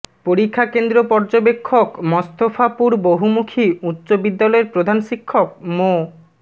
পরীক্ষা কেন্দ্র পর্যবেক্ষক মস্তফাপুর বহুমুখী উচ্চ বিদ্যালয়ের প্রধান শিক্ষক মো